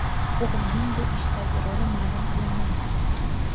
O‘g‘lining bu ishdagi roli ma’lum qilinmayapti.